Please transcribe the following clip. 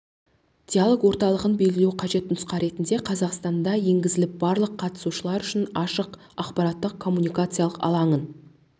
диалог орталығын белгілеу қажет нұсқа ретінде қазақстанда енгізіліп барлық қатысушылар үшін ашық ақпараттық коммуникациялық алаңын